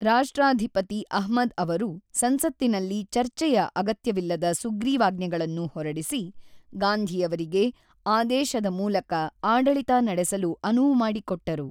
ರಾಷ್ಟ್ರಾಧಿಪತಿ ಅಹ್ಮದ್ ಅವರು ಸಂಸತ್ತಿನಲ್ಲಿ ಚರ್ಚೆಯ ಅಗತ್ಯವಿಲ್ಲದ ಸುಗ್ರೀವಾಜ್ಞೆಗಳನ್ನು ಹೊರಡಿಸಿ, ಗಾಂಧಿಯವರಿಗೆ ಆದೇಶದ ಮೂಲಕ ಆಡಳಿತ ನಡೆಸಲು ಅನುವು ಮಾಡಿಕೊಟ್ಟರು.